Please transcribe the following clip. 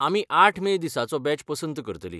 आमी आठ मे दिसाचो बॅच पसंत करतलीं.